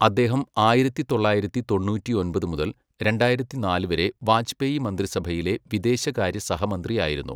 അദ്ദേഹം, ആയിരത്തി തൊള്ളായിരത്തി തൊണ്ണൂറ്റിയൊമ്പത് മുതൽ രണ്ടായിരത്തിനാല് വരെ വാജ്പേയി മന്ത്രിസഭയിലെ വിദേശകാര്യ സഹമന്ത്രിയായിരുന്നു.